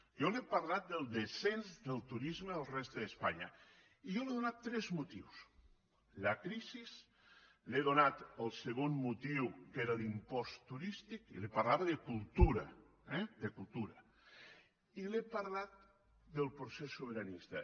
jo li he parlat del descens del turisme a la resta d’espanya i jo li he donat tres motius la crisi li he donat el segon motiu que era l’impost turístic i li parlava de cultura eh de cultura i li he parlat del procés sobiranista